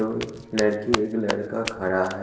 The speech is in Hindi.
अ लड़की एक लड़का खड़ा है।